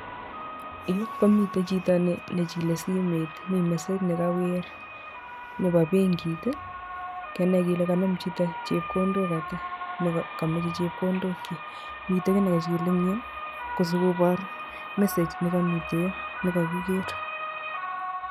Yu komite chito nechile simet mi message nekawir nebo benkit [iih] kenai kele kanem chito chepkondok ata ne kameche chepkondokyik. Mite kiy ne kachil ingyu kosikobor message ne kamite yo nekakiger.